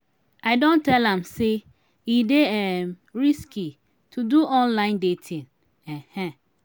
i don tell am sey e dey um risky to do online dating. um